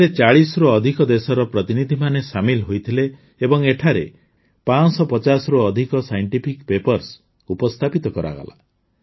ଏଥିରେ ୪୦ରୁ ଅଧିକ ଦେଶର ପ୍ରତିନିଧିମାନେ ସାମିଲ ହୋଇଥିଲେ ଏବଂ ଏଠାରେ ୫୫୦ରୁ ଅଧିକ ସାଇଣ୍ଟିଫିକ୍ ପେପର୍ସ ଉପସ୍ଥାପିତ କରାଗଲା